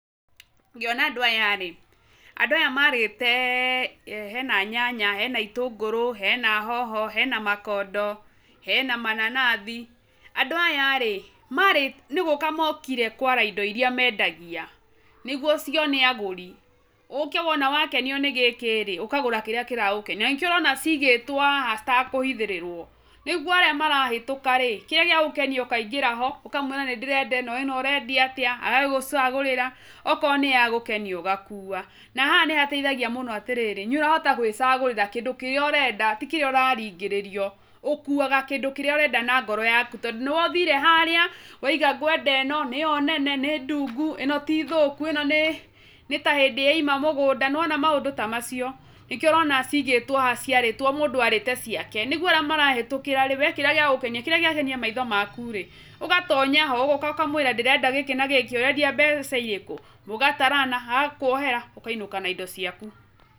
Ngĩona andũ aya rĩ, andũ aya marĩte, hena nyanya, hena itũngũrũ, hena hoho, hena makondo, hena mananathi, andũ aya rĩ, marĩ nĩgũka mokire kwara indo iria mendagia, nĩguo cione agũri, ũke wona wakenio nĩ gĩkĩ rĩ, ũkagũra kĩrĩa kĩragũkenia, nanĩkĩo ũrona cigĩtwo haha citakũhithĩrĩrwo, nĩguo arĩa marahĩtũka rĩ, kĩrĩa gĩa gũkenia ũkaingĩra ho, ũkawĩra nĩndĩrenda ĩno, ĩno ũrendia atĩa, agagũcagũrĩra, akorwo nĩya gũkenia ũgakua, na haha nĩhateithagia mũno atĩrĩrĩ, nĩũrahota gwĩcagũrĩra kĩndũ kĩrĩa ũrenda ti kĩrĩa ũraringĩrĩrio, ũkuaga kĩndũ kĩrĩa ũrenda na ngoro yaku tondũ nĩwe ũthire harĩa, wauga ngwenda ĩno, nĩyo nene, nĩ ndungu, ĩno ti thũku, ĩno nĩ, nĩta hĩndĩ yauma mũgũnda, nĩwona maũndũ ta macio, nĩkĩo ũrona cigĩtwo haha ciarĩtwo mũndũ arĩte ciake, nĩguo arĩa marahĩtũkĩra rĩ kĩndũ kĩrĩa gĩakenia maitho maku rĩ, ũgatonya ho, ũgoka ũkamwĩra ndĩrenda gĩkĩ na gĩkĩ, ũrendia mbeca irĩkũ, mũgatarana, agakuohera, ũkainũka na indo ciaku.